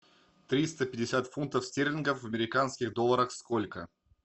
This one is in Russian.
триста пятьдесят фунтов стерлингов в американских долларах сколько